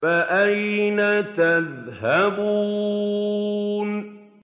فَأَيْنَ تَذْهَبُونَ